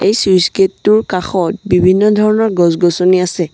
Switch gate টোৰ কাষত বিভিন্ন ধৰণৰ গছ-গছনি আছে।